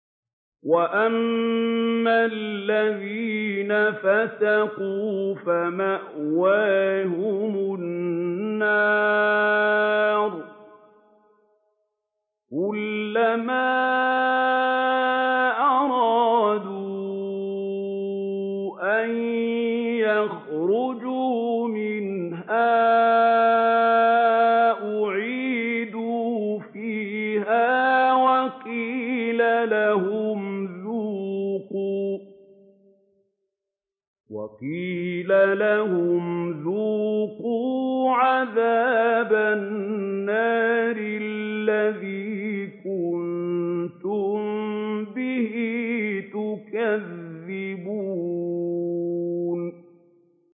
وَأَمَّا الَّذِينَ فَسَقُوا فَمَأْوَاهُمُ النَّارُ ۖ كُلَّمَا أَرَادُوا أَن يَخْرُجُوا مِنْهَا أُعِيدُوا فِيهَا وَقِيلَ لَهُمْ ذُوقُوا عَذَابَ النَّارِ الَّذِي كُنتُم بِهِ تُكَذِّبُونَ